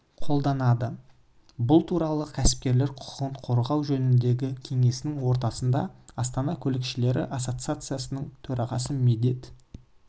қолданады бұл туралы кәсіпкерлер құқығын қорғау жөніндегі кеңесінің отырысында астана көлікшілері ассоциациясының төрағасы медет